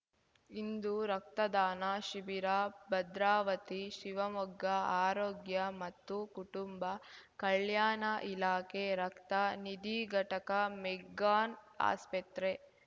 ಇಂದು ರಕ್ತದಾನ ಶಿಬಿರ ಭದ್ರಾವತಿ ಶಿವಮೊಗ್ಗ ಆರೋಗ್ಯ ಮತ್ತು ಕುಟುಂಬ ಕಲ್ಯಾಣ ಇಲಾಖೆ ರಕ್ತ ನಿಧಿ ಘಟಕ ಮೆಗ್ಗಾನ್‌ ಆಸ್ಪತ್ರೆ